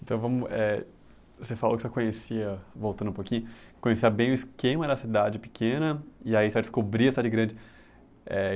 Então, vamos eh, você falou que já conhecia, voltando um pouquinho, conhecia bem o esquema da cidade pequena, e aí você vai descobrir a cidade grande. Eh